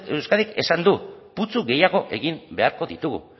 de euskadik esan du putzu gehiago egin beharko ditugu